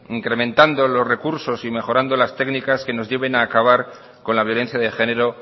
incrementando los recursos y mejorando las técnicas que nos lleven a acabar con la violencia de género